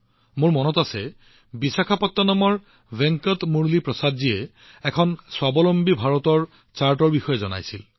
মোৰ মনত আছে বিশাখাপত্তনমৰ ভেংকট মুৰলী প্ৰসাদজীয়ে এখন আত্মনিৰ্ভৰ ভাৰত তালিকা প্ৰস্তুত কৰিছিল